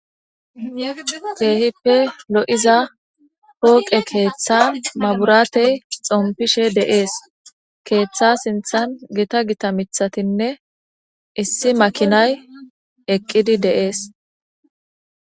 teehippe lo7iza pooqe keeththan maburaatey xompishe de7ees keeththa sinthan gita gita mithatinne issi makinay eqqidi deees